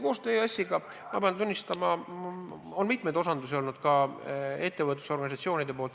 Koostöö EAS-iga, ma pean tunnistama, on mitme ettevõtlusorganisatsiooni arvates kehv.